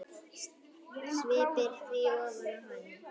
Sviptir því ofan af henni.